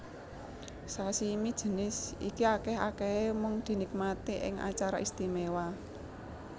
Sashimi jinis iki akèh akèhé mung dinikmati ing acara istimewa